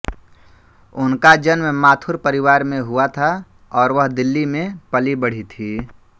उनका जन्म माथुर परिवार में हुआ था और वह दिल्ली में पली बड़ी थी